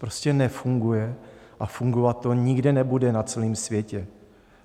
Prostě nefunguje a fungovat to nikde nebude na celém světě.